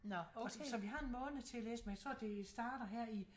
Så vi har en måned til at læse men jeg tror det starter her i